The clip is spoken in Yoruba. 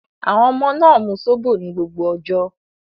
Àwọn ọmọ náà mu Zobo ní gbogbo ọjọ́.